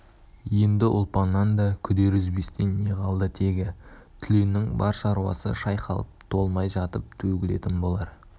енді ұлпаннан да күдер үзбестей не қалды тегі түленнің бар шаруасы шайқалып толмай жатып төгілетін болар